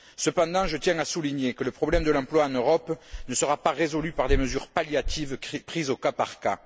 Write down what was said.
Cependant, je tiens à souligner que le problème de l'emploi en Europe ne sera pas résolu par des mesures palliatives prises au cas par cas.